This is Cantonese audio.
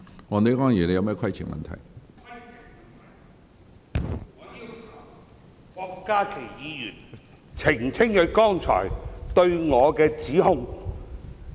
我要求郭家麒議員澄清他剛才對我的指控。